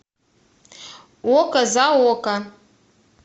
око за око